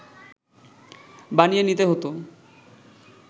বানিয়ে নিতে হত